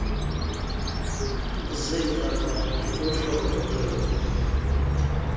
zenkampani uhlobo lwenkonzo